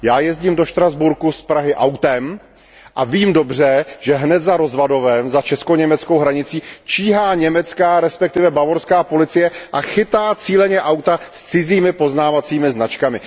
Já jezdím do Štrasburku z Prahy autem a vím dobře, že hned za Rozvadovem, za česko německou hranicí, číhá německá, respektive bavorská, policie a chytá cíleně auta s cizími poznávacími značkami.